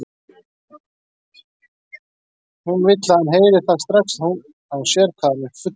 Hún vill að hann heyri það strax að hún sér hvað hann er fullur.